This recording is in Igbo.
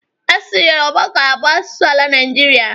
Asụsụ Yoruba ga-abụ asụsụ ala Naịjirịa.